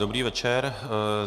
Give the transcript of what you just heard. Dobrý večer.